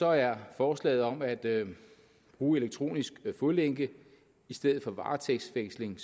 er forslaget om at bruge elektronisk fodlænke i stedet for varetægtsfængsling